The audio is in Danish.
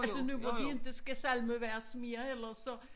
Altså nu hvor de ikke skal salmevers mere ellers så